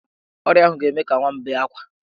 Ọrịa ahụ ga-eme ka nwa m bee ákwá.